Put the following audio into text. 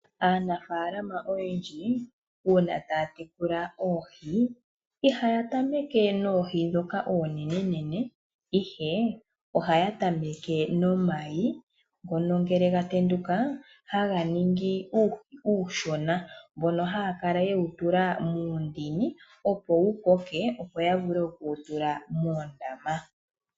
Aanafaalama oyendji uuna taatekula oohi, ihayatameke noohi dhoka oonene. Ihe ohayatameke nomayi ngono ngele gatendukaa haganingi uuhi uushona mbono haakala yewu tula muundini, opo wukoke opo yavule okuwutula moondama.